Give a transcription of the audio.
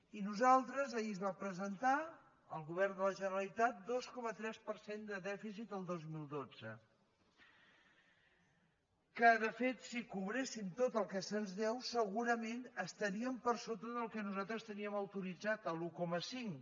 i nosaltres ahir es va presentar el govern de la generalitat dos coma tres per cent de dèficit el dos mil dotze que de fet si cobréssim tot el que se’ns deu segurament estaríem per sota del que nosaltres teníem autoritzat l’un coma cinc